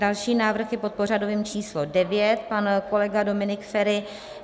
Další návrh je pod pořadovým číslem 9, pan kolega Dominik Feri.